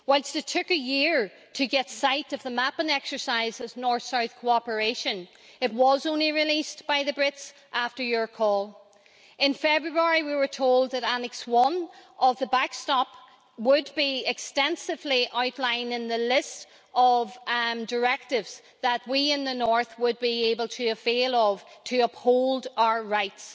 Whilst it took a year to get sight of the mapping exercise of north south cooperation, it was only released by the Brits after your call. In February, we were told that Annex I of the backstop would be extensively outlined in the list of directives that we in the north would be able to avail of to uphold our rights.